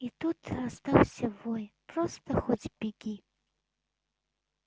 и тут раздался вой просто хоть беги